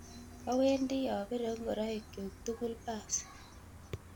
awendi apire ngoroikchyu tugul paas